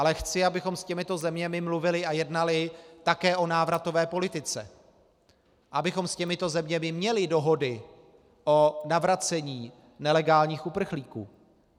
Ale chci, abychom s těmito zeměmi mluvili a jednali také o návratové politice, abychom s těmito zeměmi měli dohody o navracení nelegálních uprchlíků.